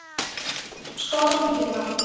Stormur getur átt við